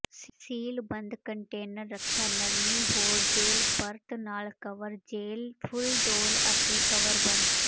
ਸੀਲਬੰਦ container ਰੱਖਿਆ ਨਰਮੀ ਹੋਰ ਜੈੱਲ ਪਰਤ ਨਾਲ ਕਵਰ ਜੈੱਲ ਫੁੱਲ ਡੋਲ੍ਹ ਅਤੇ ਕਵਰ ਬੰਦ